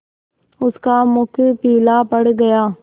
उसका मुख पीला पड़ गया